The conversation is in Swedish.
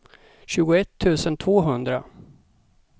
tjugoett tusen tvåhundra